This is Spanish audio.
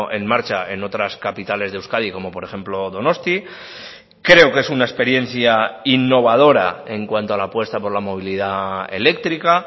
en marcha en otras capitales de euskadi como por ejemplo donosti creo que es una experiencia innovadora en cuanto a la apuesta por la movilidad eléctrica